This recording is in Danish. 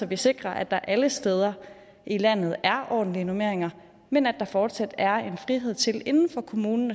vi sikrer at der alle steder i landet er ordentlige normeringer men at der fortsat er en frihed inden for kommunen